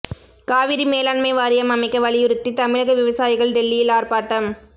காவிரி மேலாண்மை வாரியம் அமைக்க வலியுறுத்தி தமிழக விவசாயிகள் டெல்லியில் ஆர்ப்பாட்டம்